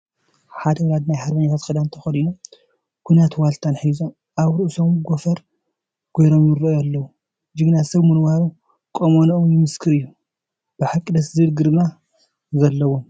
ሓደ ወላዲ ናይ ሃርበኛታት ክዳን ተኸዲኖም፣ ኲናትን ዋልታን ሒዞም፣ ኣብ ርእሶም ጎፈር ገይሮም ይርኣዩ ኣለዉ፡፡ ጀግና ሰብ ምንባሮም ቁመንኦም ይምስክር እዩ፡፡ ብሓቂ ደስ ዝብል ግርማ ዘለዎም፡፡